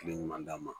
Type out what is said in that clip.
Kile ɲuman d'a ma